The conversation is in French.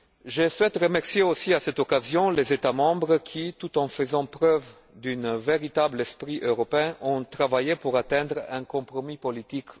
Je souhaite remercier aussi à cette occasion les États membres, qui, tout en faisant preuve d'un véritable esprit européen, ont travaillé pour atteindre finalement un compromis politique.